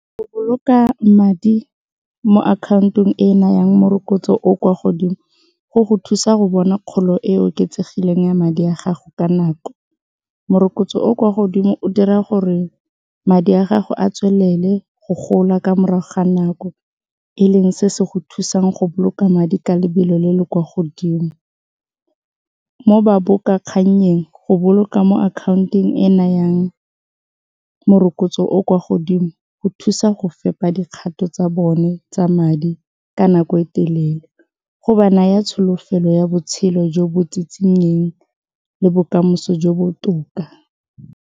Go boloka madi mo akhaontong e nayang morokotso o kwa godimo go go thusa go bona kgolo e e oketsegileng ya madi a gago ka nako, morokotso o o kwa godimo o dira gore madi a gago a tswelele go gola morago ga nako e leng se se go thusang go boloka madi ka lebelo le le kwa godimo, mo go boloka mo akhaontong e e nayang morokotso o o kwa godimo go thusa go fepa dikgato tsa bone tsa madi ka nako e telele go ba naya tsholofelo ya botshelo jo bo tsitsinyeng le bokamoso jo botoka.